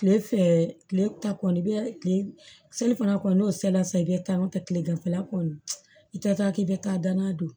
Tile fɛ tile ta kɔni i bɛ kile fana kɔ n'o sela sisan i bɛ kan o kɛ tileganfɛla kɔni i tɛ taa k'i bɛ taa danna don